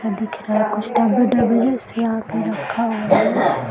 दिख रहा कुछ से यहाँ पे रखा हुआ है।